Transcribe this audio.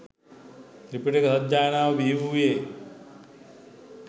ත්‍රිපිටක සජ්ඣායනාව බිහිවූයේ